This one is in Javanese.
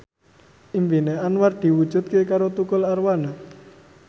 impine Anwar diwujudke karo Tukul Arwana